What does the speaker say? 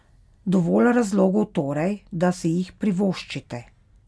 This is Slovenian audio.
Dovolj razlogov torej, da si jih privoščite.